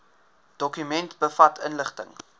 dokument bevat inligting